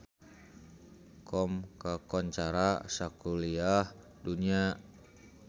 Qom kakoncara sakuliah dunya